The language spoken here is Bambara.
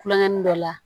Kulongɛn dɔ la